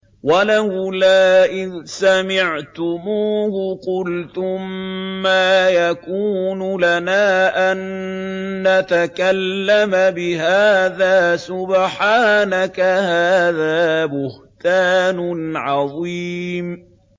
وَلَوْلَا إِذْ سَمِعْتُمُوهُ قُلْتُم مَّا يَكُونُ لَنَا أَن نَّتَكَلَّمَ بِهَٰذَا سُبْحَانَكَ هَٰذَا بُهْتَانٌ عَظِيمٌ